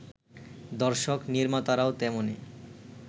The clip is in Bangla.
দর্শক-নির্মাতারাও তেমনি